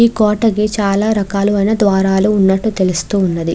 కోట కి చాల రకాలైన ద్వారాలు వున్నటు తెల్లుస్తూ ఉన్నది.